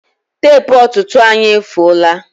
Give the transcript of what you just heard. Tepu ọtụtụ anyị efuola